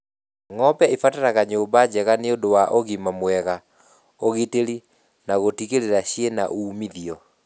Ng'ombe ibataraga nyũmba njega nĩũndũ wa ũgima mwega , ũgitĩri na gũtigĩrĩra ciĩna umithio